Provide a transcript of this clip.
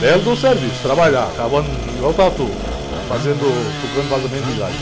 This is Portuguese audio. Belo de um serviço, trabalhar, cavando igual o Tatu, procurando vazamento de gás.